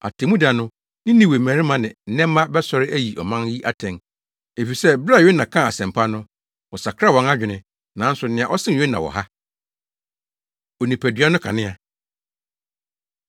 Atemmuda no Ninewe mmarima ne nnɛmma bɛsɔre ayi ɔman yi atɛn, efisɛ bere a Yona kaa asɛmpa no, wɔsakraa wɔn adwene. Nanso nea ɔsen Yona wɔ ha. Onipadua No Kanea